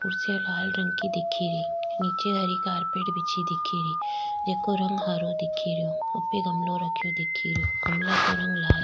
कुर्सियां लाल रंग की दिख री निचे हरी कारपेट बिछी दिख री जेको रंग हरो दिख रो उपे गमलो रखे दिख रो गमला को रंग लाल --